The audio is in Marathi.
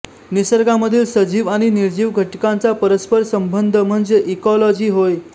निसर्गामधील सजीव आणि निर्जीव घटकांचा परस्पर संबंध म्हणजे इकॉलॉजी होय